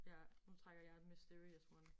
Ja nu trækker jeg et mysterious one